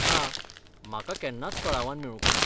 ना, म्हाका केन्नाच कळावान मेळूंक ना.